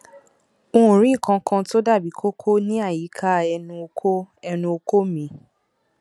n ò rí nǹkan kan tó dàbí kókó níàyíká ẹnu okó ẹnu okó mi